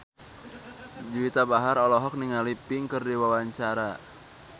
Juwita Bahar olohok ningali Pink keur diwawancara